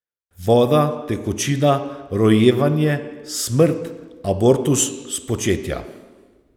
Voda, tekočina, rojevanje, smrt, abortus, spočetja.